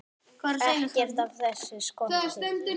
Ekkert af þessu skorti.